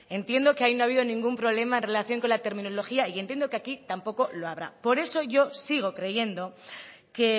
entiendo que ahí no ha habido ningún problema en relación con la terminología y yo entiendo que aquí tampoco lo habrá por eso yo sigo creyendo que